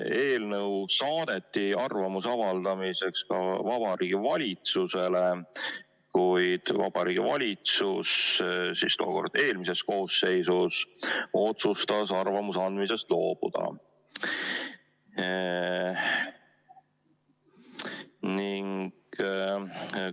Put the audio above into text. Eelnõu saadeti arvamuse avaldamiseks ka Vabariigi Valitsusele, kuid Vabariigi Valitsus, tookord eelmises koosseisus, otsustas arvamuse andmisest loobuda.